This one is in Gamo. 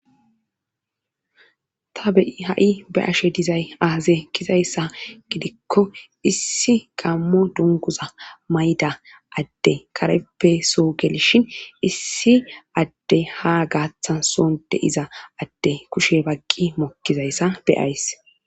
ta beyi ha7i be ashe dizay aaze kizayssa gidikko issi gammo dunguza mayda adde kareppe so gelishin issi adde ha gaaththason deiza adde kushe bagqi mokkizayssa beyays